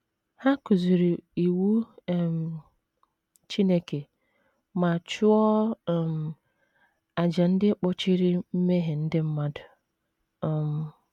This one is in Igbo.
Ha kụziri Iwu um Chineke ma chụọ um àjà ndị kpuchiri mmehie ndị mmadụ. um